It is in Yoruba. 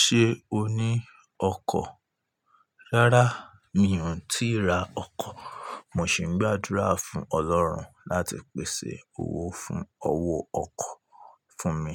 Ṣé o ní ọkọ̀? Rárá, mi ò tíì ra ọkọ̀. Mo sì ń gbàdúrà fún Ọlọ́run láti pèsè owó fún ọwọ́ ọkọ̀ fún mi.